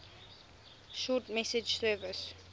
short message service